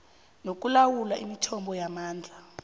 nokulawula imithombo yamandla